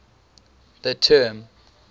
the term